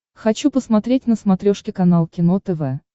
хочу посмотреть на смотрешке канал кино тв